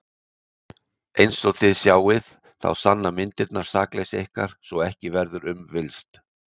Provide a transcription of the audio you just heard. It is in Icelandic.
En einsog þið sjáið þá sanna myndirnar sakleysi ykkar svo að ekki verður um villst.